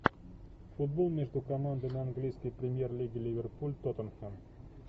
футбол между командами английской премьер лиги ливерпуль тоттенхэм